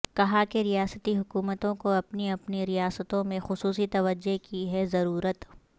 کہا کہ ریاستی حکومتوں کو اپنی اپنی ریاستوں میں خصوصی توجہ کی ہے ضرورت